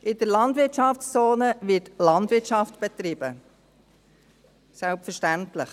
In der Landwirtschaftszone wird Landwirtschaft betrieben, selbstverständlich.